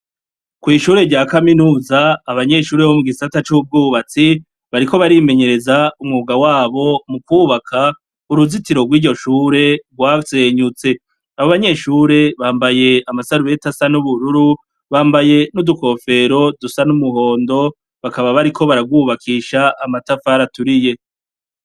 Ku ishure rya kaminuza, abanyeshure bo mu gisata c'ubwubatsi bariko barimenyereza umwuga wabo mu kubaka uruzitiro rw'iryo shure rwasenyutse. Abo banyeshure bambaye amasarubeti asa n'ubururu, bambaye n'udukofero dusa n'umuhondo, bakaba bariko bararwubakisha amatafari aturiye.